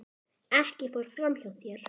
Ekkert fór fram hjá þér.